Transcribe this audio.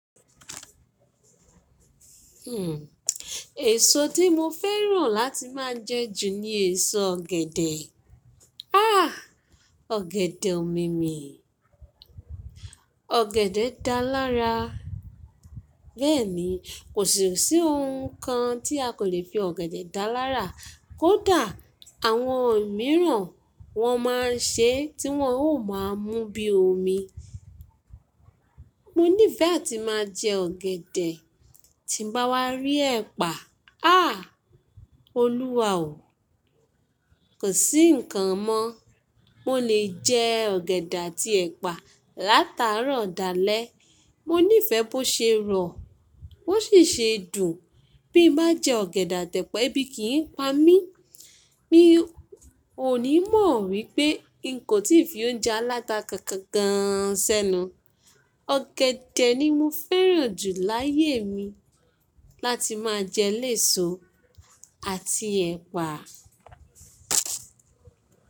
Èso tí mo fẹ́ràn láti máa jẹ jù ni èso ọ̀gẹ̀dẹ̀. Ah! Ọ̀gẹ̀dẹ̀ omimi, ọ̀gẹ̀dẹ̀ dá lárá. Bẹ́ẹ̀ni, kò sí si ohun kan tí a kò le fi ọ̀gẹ̀dẹ̀ dá lárà. Kódà àwọn mìíràn wọn máa ń ṣe tí wọ́n ó máa ń mú bíi omi. Mo nífẹ̀ẹ́ áti máa jẹ ọ̀gẹ̀dẹ̀, tí bá wá rí ẹ̀pà, ah! Olúwa o. Kò sí ǹkan mọ́, mo lè jẹ ọ̀gẹ̀dẹ̀ àti ẹ̀pà látara dà lẹ́. Mo nífẹ̀ẹ́ bó ṣe rọ̀, bó sì ṣe dùn. Bí n bá jẹ ọ̀gẹ̀dẹ̀ àti ẹ̀pà, ẹbí kìí pa mí. Mi ò ní mọ̀ wípé n kò tí fi oúnjẹ aláta kankan gán an sẹ́nu. Ọ̀gẹ̀dẹ̀ ni mo fẹ́ràn jù láyé mi láti máa jẹ léso àti ẹ̀pà.